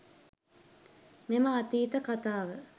මෙම අතීත කතාව